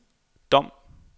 Dom